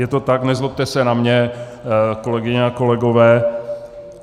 Je to tak, nezlobte se na mě, kolegyně a kolegové.